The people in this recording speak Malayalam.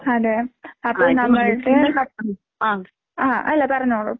അതെ അപ്പൊ നമ്മൾക്ക് ആഹ് അല്ല പറഞ്ഞോളൂ.